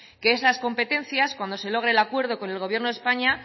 que esas competencias cuando se logre el acuerdo con el gobierno de españa